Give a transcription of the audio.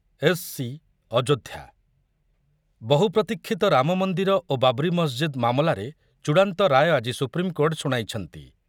S C Ayodhya, ବହୁ ପ୍ରତିକ୍ଷୀତ ରାମମନ୍ଦିର ଓ ବାବ୍ରି ମସ୍ଜିଦ୍ ମାମଲାରେ ଚୂଡାନ୍ତ ରାୟ ଆଜି ସୁପ୍ରିମକୋର୍ଟ ଶୁଣାଇଛନ୍ତି ।